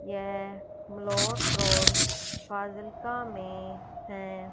येह फाजिल्का में हैं।